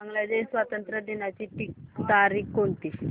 बांग्लादेश स्वातंत्र्य दिनाची तारीख कोणती